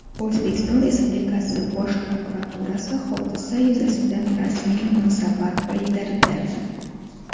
O‘zbekiston Respublikasi Bosh prokuraturasi hodisa yuzasidan rasmiy munosabat bildirdi.